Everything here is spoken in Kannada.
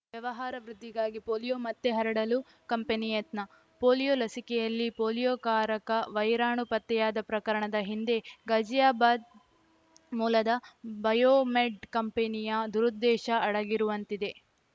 ವ್ಯವಹಾರ ವೃದ್ಧಿಗಾಗಿ ಪೋಲಿಯೋ ಮತ್ತೆ ಹರಡಲು ಕಂಪನಿ ಯತ್ನ ಪೋಲಿಯೋ ಲಸಿಕೆಯಲ್ಲಿ ಪೋಲಿಯೋಕಾರಕ ವೈರಾಣು ಪತ್ತೆಯಾದ ಪ್ರಕರಣದ ಹಿಂದೆ ಗಾಜಿಯಾಬಾದ್‌ ಮೂಲದ ಬಯೋಮೆಡ್‌ ಕಂಪನಿಯ ದುರುದ್ದೇಶ ಅಡಗಿರುವಂತಿದೆ